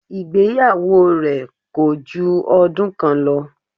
Ìgbéyàwó rẹ̀ kòju ọdún kan lọ